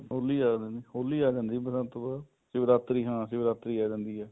ਹੋਲੀ ਆ ਜਾਂਦੀ ਏ ਬਸੰਤ ਤੋਂ ਬਾਅਦ ਸ਼ਿਵਰਾਤਰੀ ਹਾਂ ਸ਼ਿਵਰਾਤਰੀ ਆ ਜਾਂਦੀ ਏ